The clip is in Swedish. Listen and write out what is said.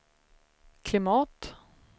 klimat